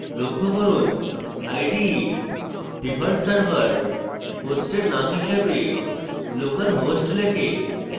লক্ষ্য করুন ide default server host name হিসেবে localhost লেখে